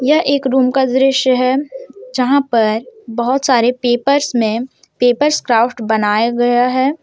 यह एक रूम का दृश्य है जहां पर बहुत सारे पेपर्स में पेपर्स क्राफ्ट बनाए गया है।